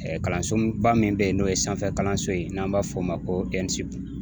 kalansoba min bɛ yen n'o ye sanfɛkalanso ye n'an b'a fɔ o ma ko